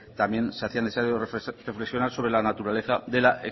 también se hacía necesario reflexionar sobre la naturaleza de la